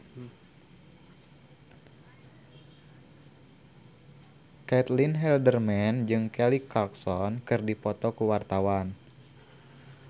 Caitlin Halderman jeung Kelly Clarkson keur dipoto ku wartawan